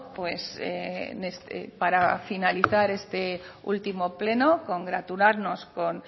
pues para finalizar este último pleno congratularnos con